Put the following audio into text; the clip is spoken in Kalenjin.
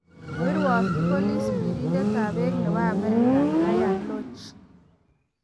koirwokyi polis birindetab bek ne bo Amerika Ryan Lotche